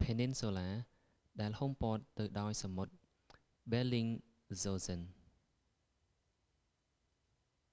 ភែនីនស៊ូឡា peninsula ដែលហ៊ុំព័ទ្ធទៅដោយសមុទ្រ ប៊ែលលីងហ្សោសិន bellingshausen